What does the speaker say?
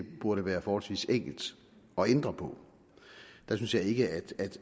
burde være forholdsvis enkelt at ændre på der synes jeg ikke